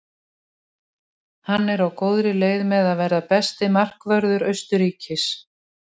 Hann er á góðri leið með að verða besti markvörður Austurríkis.